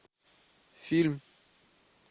фильм